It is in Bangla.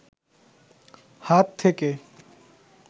হাত থেকে